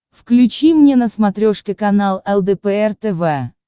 включи мне на смотрешке канал лдпр тв